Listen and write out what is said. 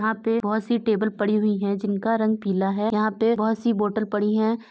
आं पे बहोत सी टेबल पड़ी हुईं है जिनका रंग पीला है। यहाँ पे बहोत सी बोटल पड़ी हैं।